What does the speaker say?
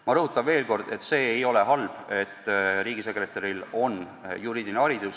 Ma rõhutan veel kord, et see ei ole halb, kui riigisekretäril on juriidiline haridus.